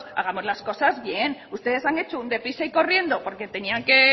hagamos las cosas bien ustedes han hecho un deprisa y corriendo porque tenían que